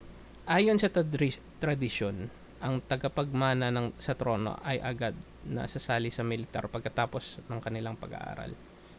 ayon sa tradisyon ang tagapagmana sa trono ay agad na sasali sa militar pagkatapos ng kanilang pag-aaral